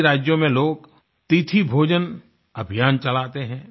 कई राज्यों में लोग तिथि भोजन अभियान चलाते हैं